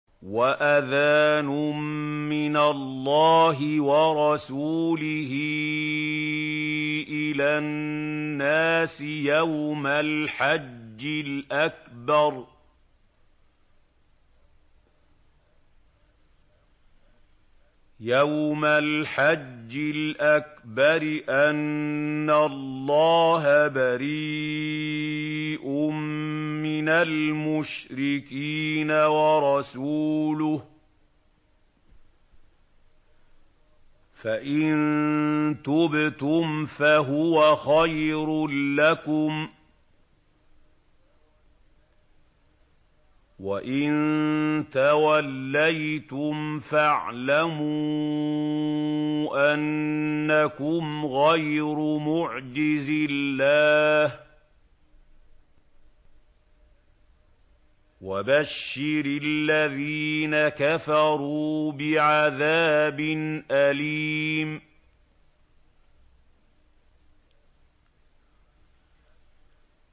وَأَذَانٌ مِّنَ اللَّهِ وَرَسُولِهِ إِلَى النَّاسِ يَوْمَ الْحَجِّ الْأَكْبَرِ أَنَّ اللَّهَ بَرِيءٌ مِّنَ الْمُشْرِكِينَ ۙ وَرَسُولُهُ ۚ فَإِن تُبْتُمْ فَهُوَ خَيْرٌ لَّكُمْ ۖ وَإِن تَوَلَّيْتُمْ فَاعْلَمُوا أَنَّكُمْ غَيْرُ مُعْجِزِي اللَّهِ ۗ وَبَشِّرِ الَّذِينَ كَفَرُوا بِعَذَابٍ أَلِيمٍ